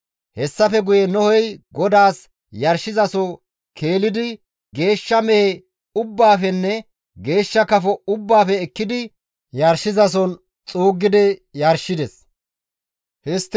Hessafe guye Nohey GODAAS yarshizaso keelidi geeshsha mehe ubbaafenne geeshsha kafo ubbaafe ekkidi yarshizason xuuggidi yarshides. Nohey GODAAS giigsida yarshosoho